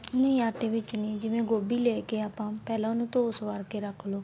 ਨੀ ਆਟੇ ਦੇ ਵਿੱਚ ਨੀ ਜਿਵੇਂ ਗੋਭੀ ਲੈ ਕੇ ਆਪਾਂ ਪਹਿਲਾਂ ਉਹਨੂੰ ਧੋ ਸਵਾਰ ਕੇ ਰੱਖ ਲੋ